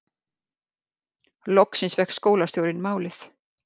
Loksins fékk skólastjórinn málið